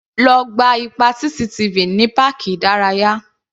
Lo gba ipa CCTV ní páàkì ìdárayá.